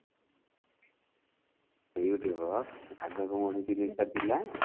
ଆଗରୁ କଣ ମୋ ଉପରେ ଏଇ ଜିନିଷ ଟା ଥିଲା